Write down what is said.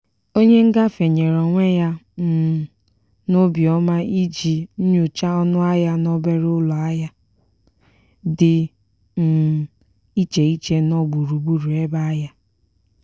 onye ngafe nyere onwe ya um n'obiọma iji nyochaa ọnụahịa n'obere ụlọahịa dị um iche iche nọ gburu gburu ebe ahịa.